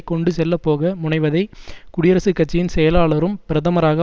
கொண்டுசெல்லப்போக முனைவதை குடியரசுக்கட்சியின் செயலாளரும் பிரதமராக